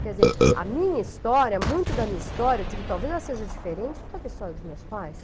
Quer dizer, a minha história, muito da minha história, digo, talvez ela seja diferente por causa da história dos meus pais.